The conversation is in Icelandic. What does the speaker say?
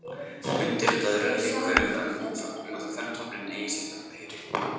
Undirritaðri er ekki kunnugt um að kvenhrafninn eigi sérstakt heiti.